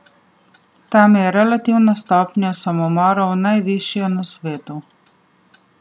Tam je relativna stopnja samomorov najvišja na svetu.